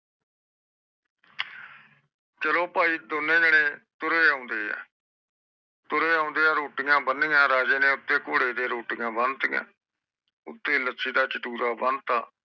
ਚਲੋ ਬਾਈ ਦੋਨੋ ਜਣੇ ਤੁਰੇ ਆਉਂਦੇ ਆ ਤੁਰੇ ਆਉਂਦੇ ਆ ਰੋਟੀਆਂ ਬਣਿਆ ਰਾਜੇ ਨੇ ਆਪਦੇ ਘੋੜੇ ਤੇ ਰੋਟੀਆਂ ਬੰਟਿਊਯਾ ਉਤੇ ਲੱਸੀ ਤਾ ਚਤੁਰਾ ਬੰਦ ਤਾ